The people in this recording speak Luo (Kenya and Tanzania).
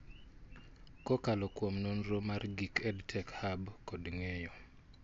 kokalo kuom nonro mar gik EdTech Hub kod ngeyo